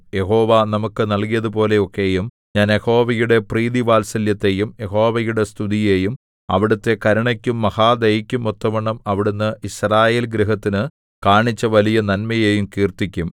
യഹോവ നമുക്കു നല്കിയതുപോലെ ഒക്കെയും ഞാൻ യഹോവയുടെ പ്രീതിവാത്സല്യത്തെയും യഹോവയുടെ സ്തുതിയെയും അവിടുത്തെ കരുണയ്ക്കും മഹാദയയ്ക്കും ഒത്തവണ്ണം അവിടുന്ന് യിസ്രായേൽ ഗൃഹത്തിനു കാണിച്ച വലിയ നന്മയെയും കീർത്തിക്കും